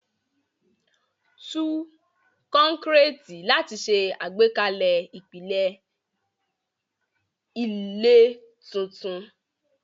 Tú kọ́kọ́rẹ́ẹ̀tì láti ṣe àgbékalẹ̀ ìpìlẹ̀ ilé tuntun.